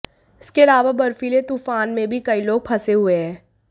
इसके अलावा बर्फीले तूफान में भी कई लोग फंसे हुए हैं